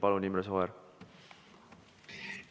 Palun, Imre Sooäär!